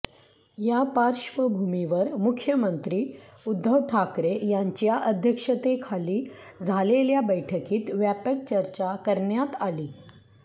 या पार्श्वभूमीवर मुख्यमंत्री उद्धव ठाकरे यांच्या अध्यक्षतेखाली झालेल्या बैठकीत व्यापक चर्चा करण्यात आली